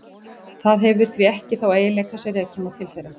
Það hefur því ekki þá eiginleika sem rekja má til þeirra.